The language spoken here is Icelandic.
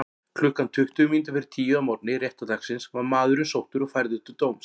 Klukkan tuttugu mínútur fyrir tíu að morgni réttardagsins var maðurinn sóttur og færður til dóms.